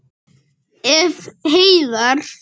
Ef. heiðar